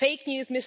fake news